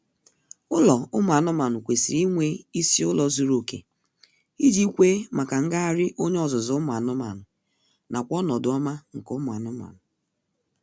Ụlọ ụmụ anụmaanụ kwesịrị inwe isi ụlọ zuru oke iji kwe maka ngagharị onye ọzụzụ ụmụ anụmaanụ nakw ọnọdụ ọma nke ụmụ anụmanụ